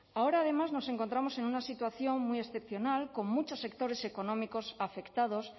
ahora además nos encontramos en una situación muy excepcional con muchos sectores económicos afectados